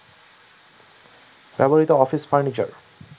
ব্যবহৃত office furniture